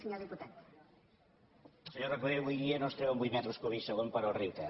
senyor recoder avui dia no es treuen vuit metres cúbics segon pel riu ter